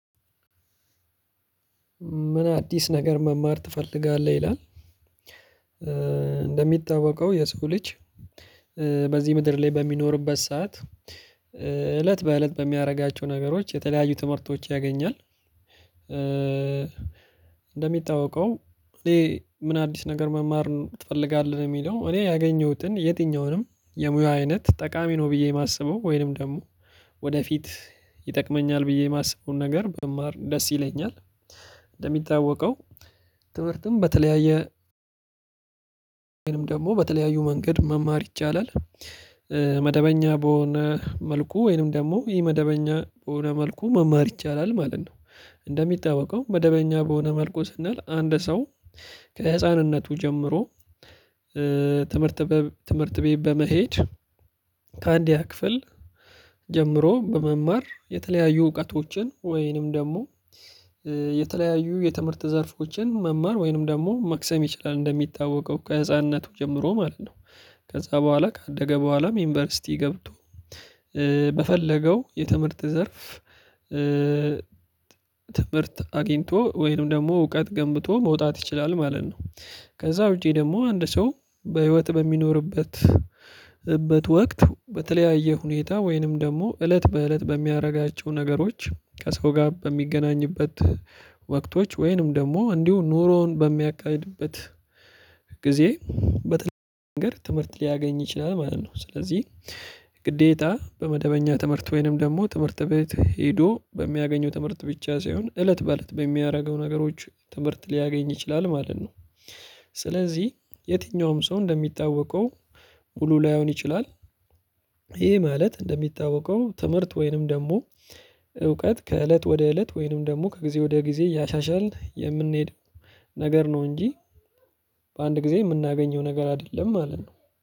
ምን አዲስ ነገር መማር ትፈልጋለህ? ይላል እንደሚታወቀው የስኩልች በዚህ ምድር ላይ በሚኖርበት ሰዓት እለት በእለት በሚያደርጋቸው ነገሮች የተለያዩ ትምህርቶች ያገኛል። እንደሚታወቀው እኔ ምን አዲስ ነገር መማር ትፈልጋለህ የሚለው እኔ ያገኘሁትን የትኛውንም የሙያ አይነት ጠቃሚ ነው ብዬ የማስበው ወይንም ደግሞ ወደፊት ይጠቅመኛል ብዬ የማስበውን ነገር ብማር ደስ ይለኛል። እንደሚታወቀው ትምህርትም በተለያየ ወይንም ደግሞ በተለያዩ መንገድ መማር ይቻላል። መደበኛ በሆነ መልኩ ወይንም ደግሞ ኢ መደበኛ በሆነ መልኩ መማር ይቻላል ማለት ነው። እንደሚታዋቀው መደበኛ በሆነ መልኩ ስንል አንድ ሰው ከህፃንነቱ ጀምሮ ትምህርት ቤት በመሄድ ከአንድ ያ ክፍል ጀምሮ በመማር የተለያዩ እውቀቶችን ወይንም ደግሞ የተለያዩ የትምህርት ዘርፎችን መማር ወይንም ደግሞ መክሰም ይችላል እንደሚታወቀው ከህፃንነቱ ጀምሮ ማለት ነው። ከዛ በኋላ ከአደገ በኋላም ዩኒቨርሲቲ ገብቶ በፈለገው የትምህርት ዘርፍ ትምህርት አግኝቶ ወይም ደግሞ እውቀት ገምብቶ መውጣት ይችላል ማለት ነው። ከዛ ውጪ ደግሞ አንድ ሰው በህይወት በሚኖርበት በት ወቅት በተለያየ ሁኔታ ወይንም ደግሞ እለት በእለት በሚያደርጋቸው ነገሮች ከሰው ጋር በሚገናኝበት ወቅቶች ወይንም ደግሞ እንዲሁ ኑሮውን በሚካሄድበት ጊዜ በተለይ ነገር ትምህርት ሊያገኝ ይችላል ማለት ነው። ስለዚህ ግዴታ በመደበኛ ትምህርት ወይንም ደግሞ ትምህርት ቤት ሄዶ በሚያገኘው ትምህርት ብቻ ሳይሆን እለት በእለት በሚያደርገው ነገሮች ትምህርት ሊያገኝ ይችላል ማለት ነው። ስለዚህ የትኛውም ሰው እንደሚታወቀው ሙሉ ላይሆን ይችላል። ይሄ ማለት እንደሚታወቀው ትምህርት ወይንም ደግሞ እውቀት ከእለት ወደ እለት ወይንም ደግሞ ከጊዜ ወደ ጊዜ ያሻሻልን የምንሄድ ነገር ነው እንጂ በአንድ ጊዜ የምናገኘው ነገር አይደለም ማለት ነው።